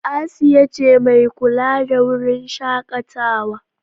Asiya ce mai kula da wurin shakatawa.